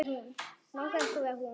Langar ekki að vera hún.